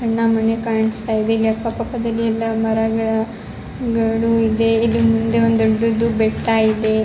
ಸಣ್ಣ ಮನೆ ಕಾಣಿಸ್ತಾ ಇದೆ ಇಲ್ಲಿ ಅಕ್ಕ ಪಕ್ಕದಲ್ಲಿ ಎಲ್ಲ ಮರ ಗಿಡಗಳು ಇದೆ ಇಲ್ಲಿ ಮುಂದೆ ಒಂದು ದೊಡ್ಡದು ಬೆಟ್ಟ ಇದೆ-